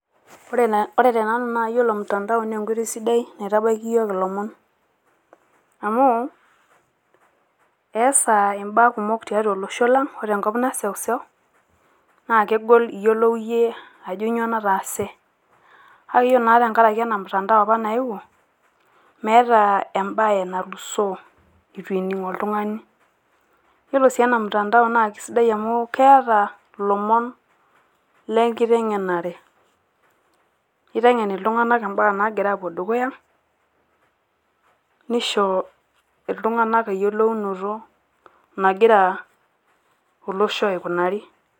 Ore tenanu naa iyiolo mtandao naa enkoitoi sidai naitabaki iyiok ilomon amu easa imbaa kumok tiatua olosho lang' o tenkop naseuseu, naa kegol iyolou iyie ajo kanyoo nataase. Kake iyiolo naa tenkaraki ena mtandao apa nayeuo meeta embae nalusoo itu ining' oltung'ani. Iyiolo sii ena mtandao kesidai amu keeta ilomon lenkiteng'enare, kiteng'en iltung'anak mbaa nagira aapuo dukuya nisho iltung'anak eyolounoto nagira olosho aikunari.